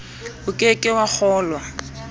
o ke ke wa kgolwa